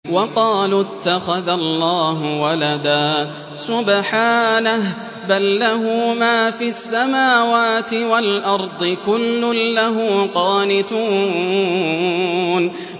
وَقَالُوا اتَّخَذَ اللَّهُ وَلَدًا ۗ سُبْحَانَهُ ۖ بَل لَّهُ مَا فِي السَّمَاوَاتِ وَالْأَرْضِ ۖ كُلٌّ لَّهُ قَانِتُونَ